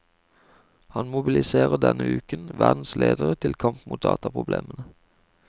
Han mobiliserer denne uken verdens ledere til kamp mot dataproblemene.